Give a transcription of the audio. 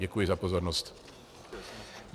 Děkuji za pozornost.